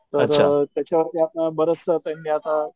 तर त्याच्या वरती आता बरस त्यांनी आता,